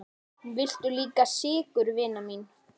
Viltu líka sykur, vina mín?